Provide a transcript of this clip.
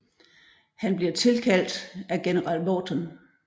Han bliver tilkaldt af general Vaughton